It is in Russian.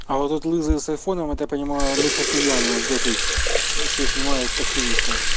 а вот этот лысый с айфоном это я понимаю мыхакимьянов ждёт их всех снимают активистов